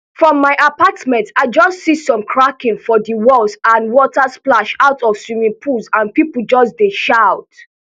from my apartment i just see some cracking for di walls and water splash out of swimming pools and pipo just dey just shout